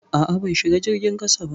A'a, ban shiga jirgin ƙasa ba.